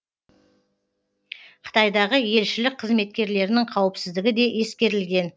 қытайдағы елшілік қызметкерлерінің қауіпсіздігі де ескерілген